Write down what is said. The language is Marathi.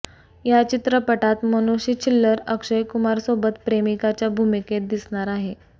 या चित्रपटात मनुषी छिल्लर अक्षय कुमारसोबत प्रेमिकाच्या भूमिकेत दिसणार आहे